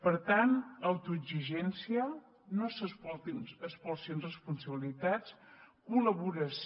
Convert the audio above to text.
per tant autoexigència no s’espolsin responsabilitats col·laboració